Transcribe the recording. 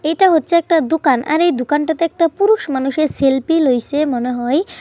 এটা হচ্ছে একটা দোকান। আরে দোকানটাতে একটা পুরুষ মানুষের সেলফি লইছে মনে হয় ।